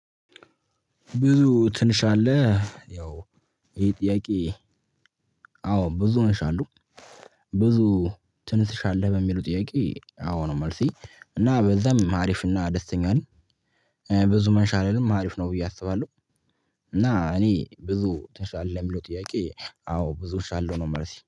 ብዙ ትንሽ አለ ያው ይሄ ጥያቄ? አዎ ብዙ ነሽ አሉ። ብዙ ትንሽ አለ? በሚሉ ጥያቄ አዎ ነው መልሴ እና በዛም አሪፍ እና ደስተኛ ነኝ። ብዙ መንሻ አልልም አሪፍ ነው ብዬ አስባለሁ። እና እኔ ብዙ ትንሽአለህ ለሚለው ጥያቄ አዎ ብዙ እሻለሁ ነው መልሴ